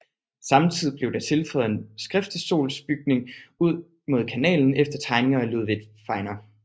Samtidig blev der tilføjet en skriftestolsbygning ud mod kanalen efter tegninger af Ludvig Fenger